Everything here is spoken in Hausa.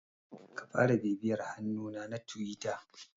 Ka fara bibiyar hannuna na Tiwita.